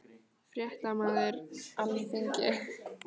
Fréttamaður: Alþingi?